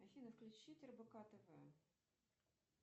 афина включить рбк тв